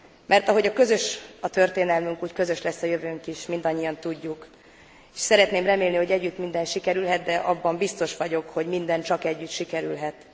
Mert ahogy közös a történelmünk, úgy közös lesz a jövőnk is, mindannyian tudjuk, és szeretném remélni, hogy együtt minden sikerülhet, de abban biztos vagyok, hogy minden csak együtt sikerülhet.